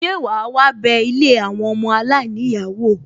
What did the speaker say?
Ṣe wàá wá bé ilé àwọn ọmọ aláìníyàá wò?